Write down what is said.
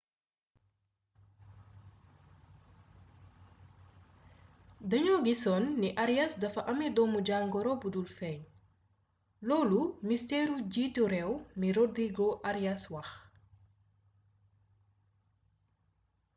dañoo gisoon ni arias dafa amé doomu-jangoro budul feeñ loolu ministëru bjiitu réew mi rodrigo arias wax